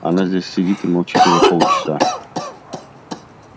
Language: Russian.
она здесь сидит и молчит уже полчаса